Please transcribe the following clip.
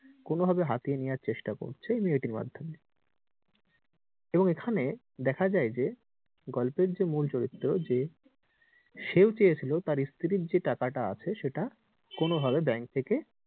কোনো ভাবে হাতিয়ে নেওয়ার চেষ্টা করছে এই মেয়েটির মাধ্যমে এবং এখানে দেখা যায় যে গল্পের যে মূল চরিত্র যে সেও চেয়েছিলো তার স্ত্রীর যে টাকা টা আছে সেটা কোনো ভাবে bank থেকে,